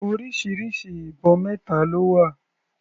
Orísirísi ibọn mẹta ló wà.